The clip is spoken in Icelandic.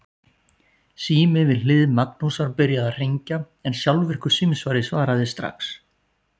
Kannski stóð ekki annað til en gera svolítið sprell, halda uppi fjöri?